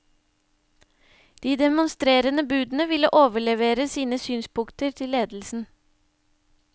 De demonstrerende budene vil overlevere sine synspunkter til ledelsen.